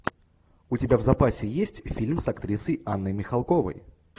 у тебя в запасе есть фильм с актрисой анной михалковой